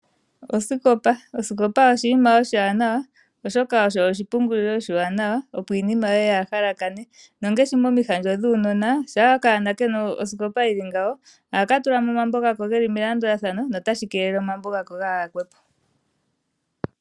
Osikopa oshinima oshiwanawa, oshoka osho oshipungulilo oshiwanawa opo iinima yoye kaayi halakane. Ngaashi momihandjo dhuunona, uuna okanona kena osikopa ohaka tulamo omambo gako geli melandulathano, notashi keelele omambo gako gaa yakwepo.